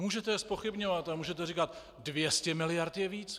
Můžete je zpochybňovat a můžete říkat - 200 miliard je víc.